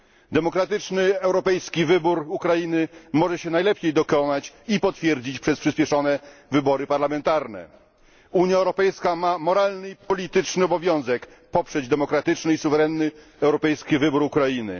Demokratyczny europejski wybór Ukrainy może się najlepiej dokonać i potwierdzić przez przyspieszone wybory parlamentarne. Unia Europejska ma moralny i polityczny obowiązek poprzeć demokratyczny i suwerenny europejski wybór Ukrainy.